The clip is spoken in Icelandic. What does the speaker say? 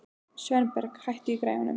Sveinberg, hækkaðu í græjunum.